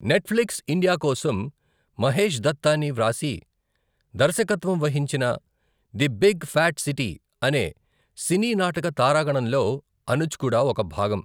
Netflix India కోసం మహేష్ దత్తాని వ్రాసి, దర్శకత్వం వహించిన ది బిగ్ ఫ్యాట్ సిటీ అనే సినీ నాటక తారాగణంలో అనుజ్ కూడా ఒక భాగం.